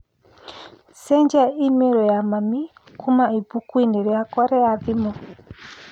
Cenjia i-mīrū ya mami kuuma ibuku-inĩ rĩakwa rĩa thimũ